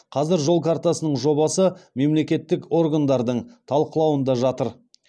қазір жол картасының жобасы мемлекеттік органдардың талқылауында жатыр